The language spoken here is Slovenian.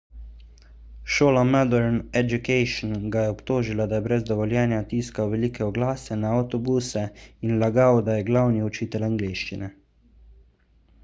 šola modern education ga je obtožila da je brez dovoljenja tiskal velike oglase na avtobuse in lagal da je glavni učitelj angleščine